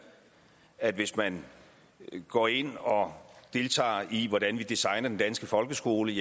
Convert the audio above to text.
at hvis man går ind og deltager i hvordan vi designer den danske folkeskole